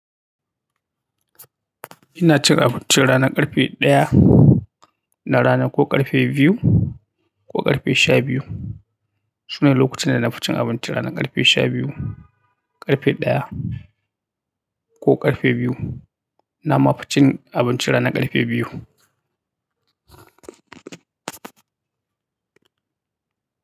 Ina cin abinci rana karfe daya na rana ko karfe biyu ko karfe shabiyu. Sune lokutan da na fi cin abinci ranar karfe shabiyu, karfe daya ko karfe biyu. Na ma fi cin abinci ranar karfe biyu.